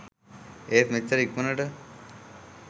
ඒත් මෙච්චර ඉක්මණට